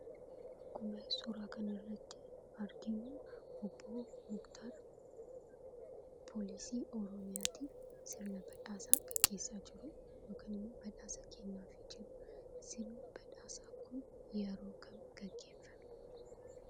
akkuma suuraa kanarratti arginuu Obbo Muktar poolisii oromiyaatiif sirna badhaasaa gaggeessaa jiruu, yookaan immoo badhaasa kennaafi jiruu , sirni badhaasaa kun yeroo kam gaggeeffame?